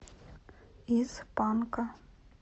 из панка